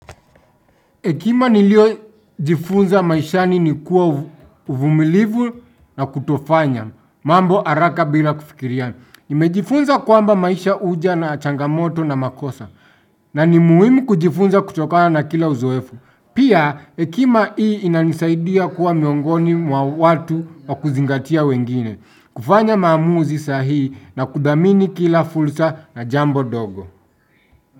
Hekima nilio jifunza maishani ni kuwa uvumilivu na kutofanya, mambo araka bila kufikiria ni. Nimejifunza kwamba maisha uja na changamoto na makosa, na ni muhimi kujifunza kutokana na kila uzoefu. Pia, hekima hii inanisaidia kuwa miongoni mwa watu wa kuzingatia wengine, kufanya maamuzi sahihi na kudhamini kila fulsa na jambo dogo.